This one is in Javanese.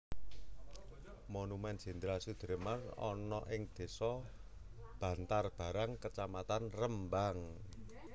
Monumen Jenderal Soedirman ana ing desa Bantarbarang kecamatan Rembang